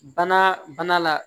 Bana bana la